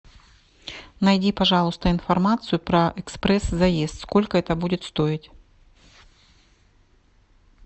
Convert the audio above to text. найди пожалуйста информацию про экспресс заезд сколько это будет стоить